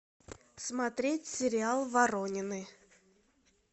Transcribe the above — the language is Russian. смотреть сериал воронины